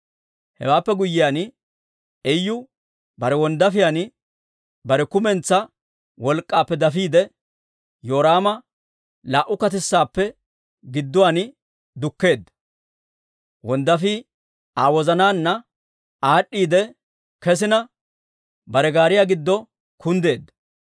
Hewaappe guyyiyaan, Iyu bare wonddaafiyaan bare kumentsaa wolk'k'aappe dafiide, Yoraama laa"u katissaappe gidduwaan dukkeedda. Wonddaafii Aa wozanaanna aad'd'iidde kesina, bare gaariyaa giddo kunddeedda.